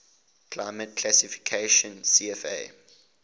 climate classification cfa